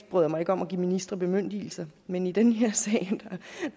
bryder mig om at give ministre bemyndigelser men i den her sag